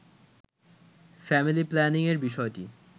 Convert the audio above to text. family planning এর বিষয়টি